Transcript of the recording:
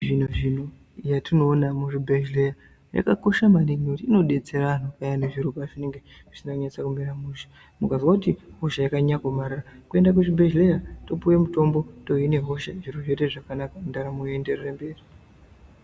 Zvino-zvino yatinoona muzvibhehlera yakakosha maningi nekuti inodetsera payani zviro pazvinenge zvisina kunyatsa kumira mushe, mukazwa kuti hosha yakanyanya kuomarara kuenda kuzvibhedhleya topuwe mutombo tohina hosha zvoita zvakanaka ndaramo yoenderera mberi.